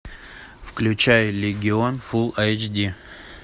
включай легион фулл айч ди